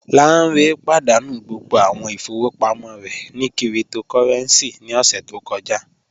Lánré pádánú gbogbo awọn ìfọwọpamọ rẹ ni kírìtòkòrẹ̀ncì ní ọṣẹ̀ tó kọ̀jà